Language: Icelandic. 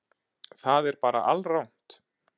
Það er bara alrangt.